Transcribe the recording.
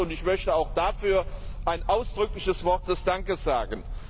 Ich möchte auch dafür ein ausdrückliches Wort des Dankes sagen.